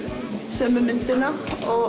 sömu myndina